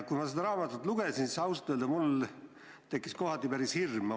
Kui ma seda raamatut lugesin, siis ausalt öelda mul tekkis kohati päris hirm.